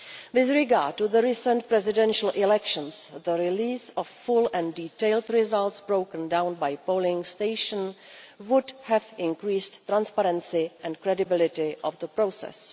With regard to the recent presidential elections, the release of full and detailed results broken down by polling station would have increased the transparency and credibility of the process.